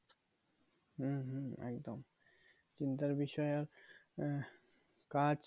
হম হম একদম চিন্তার বিষয় ও আহ কাজ